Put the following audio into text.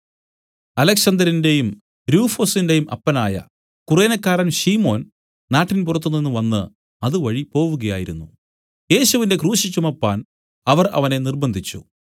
അലെക്സന്തരിന്റെയും രൂഫൊസിന്റെയും അപ്പനായ കുറേനക്കാരൻ ശിമോൻ നാട്ടിൻപുറത്തുനിന്ന് വന്നു അതുവഴി പോവുകയായിരുന്നു യേശുവിന്റെ ക്രൂശ് ചുമപ്പാൻ അവർ അവനെ നിര്‍ബ്ബന്ധിച്ചു